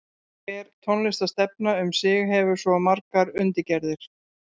Hver tónlistarstefna um sig hefur svo margar undirgerðir.